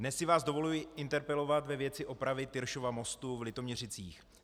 Dnes si vás dovoluji interpelovat ve věci opravy Tyršova mostu v Litoměřicích.